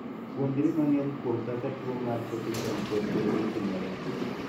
Puonjri mang'eny kuom kaka tuo mar choke chong kod bede timore.